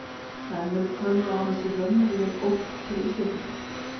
En eru tölvuárásir raunveruleg ógn fyrir Íslendinga?